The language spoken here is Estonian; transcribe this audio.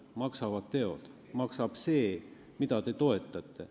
Maksavad teod, maksab see, mida te toetate.